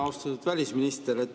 Austatud välisminister!